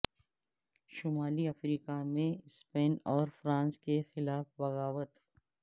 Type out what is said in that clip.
شمالی افریقہ میں اسپین اور فرانس کے خلاف بغاوت